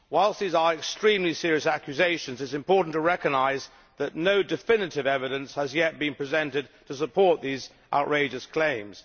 Whilst these are extremely serious accusations, it is important to recognise that no definitive evidence has yet been presented to support these outrageous claims.